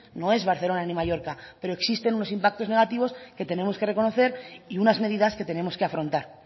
no es ni barcelona ni mallorca pero existen unos impactos negativos que tenemos que reconocer y unas medidas que tenemos que afrontar